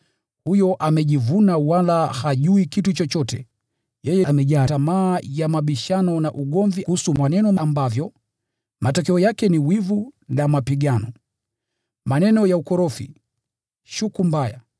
huyo amejivuna wala hajui kitu chochote. Yeye amejaa tamaa ya mabishano na ugomvi kuhusu maneno ambavyo matokeo yake ni wivu na mapigano, maneno ya ukorofi, shuku mbaya,